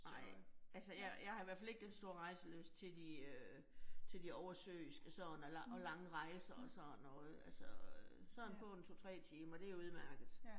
Nej, altså jeg jeg har i hvert fald ikke den store rejselyst til de øh til de oversøiske sådan og og lange rejser og sådan og øh altså, sådan på en 2 3 timer det udmærket